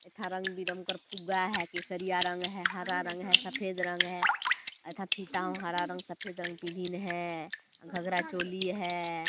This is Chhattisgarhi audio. एक ठा रंग-बिरंगा फुग्गा है केसरिया रंग है हरा रंग है सेद रंग है एथा फिथा हैं हरा रंग सफ़ेद रंग भी है घगरा चोली है।